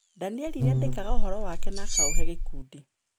Daniel nĩ andĩkaga ũhoro wake na akaũhe gĩkundi.